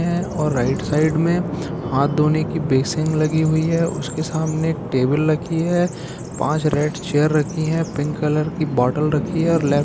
हैं और right side में हाथ धोने की बेसिन लगी हुई है| उसके सामने एक टेबल रखी है पांच रेड चेयर रखी है पिंक कलर की बोतल रखी है और लेफ--